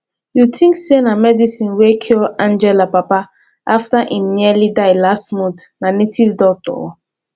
you think say na medicine wey cure angela papa after im nearly die last month na native doctor oo